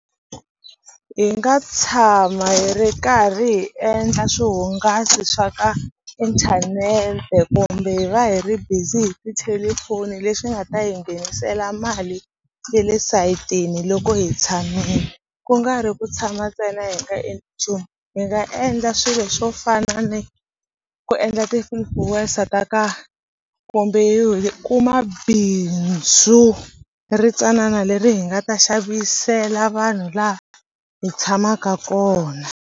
Hi nga tshama hi ri karhi hi endla swihungasi swa ka inthanete kumbe hi va hi ri busy hi tithelefoni lexi nga ta hi nghenisela mali ye le sayitini loko hi tshamile ku nga ri ku tshama ntsena hi nga endli nchumu hi nga endla swilo swo fana ni ku endla ti ta ka kumbe hi kuma bindzu ri tsanana leri hi nga ta xavisela vanhu laha hi tshamaka kona.